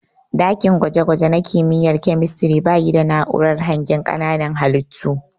Ɗakin gwaje gwaje na kimiyya na kemistiri bayi da na'urar hangen ƙananan halittu.